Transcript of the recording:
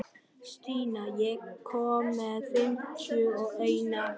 Stína, ég kom með fimmtíu og eina húfur!